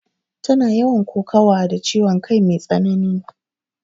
Tana yawan kokawa da ciwon kai mai tsanani